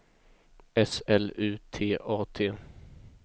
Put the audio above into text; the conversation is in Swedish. S L U T A T